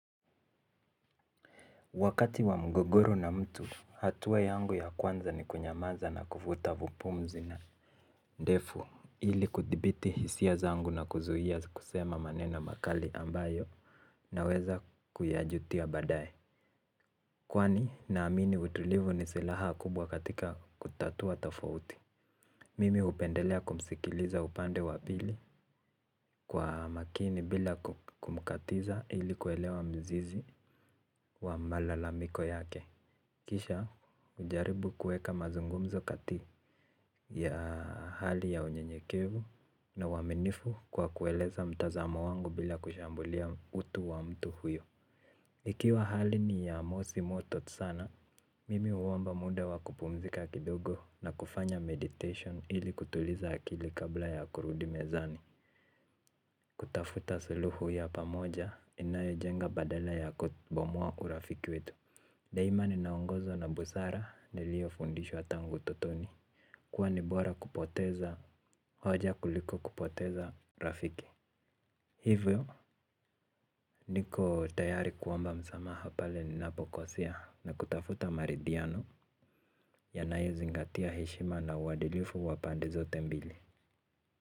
Wakati wa mgogoro na mtu, hatua yangu ya kwanza ni kunyamaza na kuvuta vupumzi na ndefu ili kudhibiti hisia zangu na kuzuhia kusema maneno makali ambayo naweza kuyajutia baadae. Kwani naamini utulivu ni silaha kubwa katika kutatua tafouti. Mimi upendelea kumsikiliza upande wa pili kwa makini bila kumkatiza ili kuelewa mzizi wa malalamiko yake. Kisha, ujaribu kueka mazungumzo kati ya hali ya unyenyekevu na uwaminifu kwa kueleza mtazamo wangu bila kushambulia utu wa mtu huyo. Ikiwa hali ni ya mosi moto sana, mimi uwomba muda wa kupumzika kidogo na kufanya meditation ili kutuliza akili kabla ya kurudi mezani. Kutafuta suluhu ya pamoja inayo jenga badala ya kubomwa urafiki wetu. Daima ninaongozwa na busara nilio fundishwa tangu utotoni. Kuwa nibora kupoteza hoja kuliko kupoteza rafiki. Hivyo niko tayari kuomba msamaha pale ninapokosea na kutafuta maridhiano yanayo zingatia heshima na uwadilifu wa pende zote mbili.